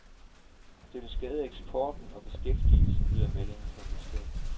Det vil skade eksporten og beskæftigelsen, lyder meldingen fra industrien.